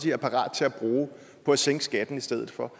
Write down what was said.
er parat til at bruge på at sænke skatten i stedet for